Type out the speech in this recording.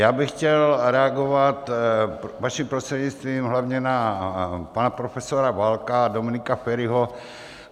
Já bych chtěl reagovat, vaším prostřednictvím, hlavně na pana profesora Válka a Dominika Feriho.